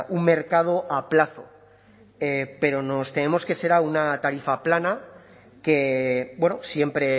un mercado a plazo pero nos tememos que será una tarifa plana que siempre